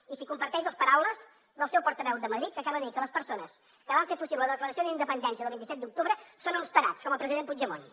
i si comparteix les paraules del seu portaveu a madrid que acaba de dir que les persones que van fer possible la declaració d’independència del vint set d’octubre són uns tarats com el president puigdemont